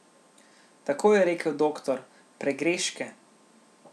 Tako je rekel doktor, pregreške.